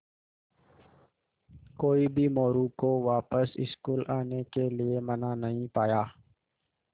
कोई भी मोरू को वापस स्कूल आने के लिये मना नहीं पाया